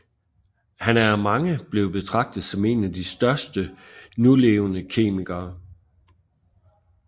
Han er af mange blevet betragtet som en af de største levende kemikere